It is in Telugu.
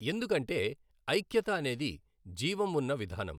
ఎందుకంటే ఐఖ్యత అనేది జీవం ఉన్న విధానం.